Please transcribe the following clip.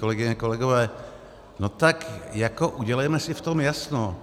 Kolegyně, kolegové, no tak jako udělejme si v tom jasno.